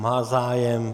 Má zájem.